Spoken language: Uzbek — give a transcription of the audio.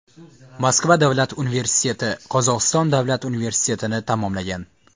Moskva davlat universiteti, Qozog‘iston davlat universitetini tamomlagan.